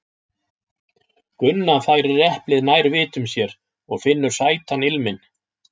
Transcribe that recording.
Gunna færir eplið nær vitum sér og finnur sætan ilminn.